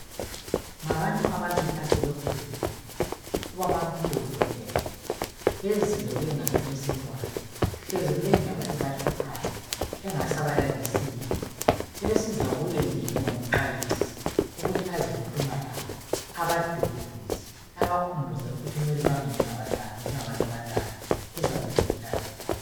ngabantu ababili asebekhulile ubabamkhulu logogo bezile kuyenalo owentwana hlezi kulendaba ebahluphayo engasabalalisiyo sebesiza kuye nje njengomxwayisi ukuthi azekhuluma labo abaduduze abakhubuze ukuthi kumele bame njengabantu abadala kuzakwedlula lokhu